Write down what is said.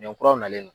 Ɲɔ kuraw nalen no